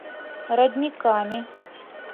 родниками